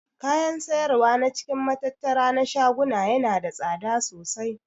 Kayan siyarwa na cikin matattara na shaguna yana da tsada sosai.